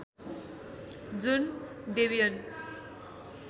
जुन डेबियन